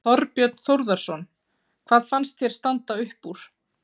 Þorbjörn Þórðarson: Hvað fannst þér standa upp úr?